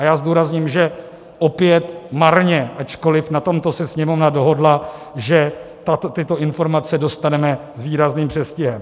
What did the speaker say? A já zdůrazním, že opět marně, ačkoliv na tomto se Sněmovna dohodla, že tyto informace dostaneme s výrazným předstihem.